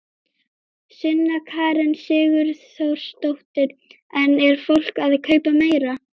Sunna Karen Sigurþórsdóttir: En er fólk að kaupa meira?